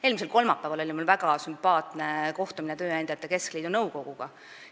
Eelmisel kolmapäeval oli mul väga sümpaatne kohtumine tööandjate keskliidu nõukoguga.